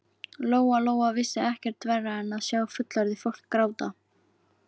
Lóa Lóa vissi ekkert verra en að sjá fullorðið fólk gráta.